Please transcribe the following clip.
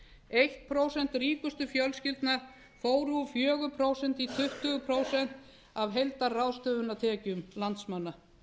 eitt prósent ríkustu fjölskyldna fór úr fjórum prósentum í tuttugu prósent af heildarráðstöfunartekjum landsmanna